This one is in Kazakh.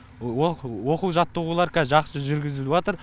оқу жаттығулар кәз жақсы жүргізіліватыр